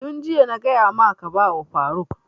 Yun jiya na gaya maka ka ba wa faruk!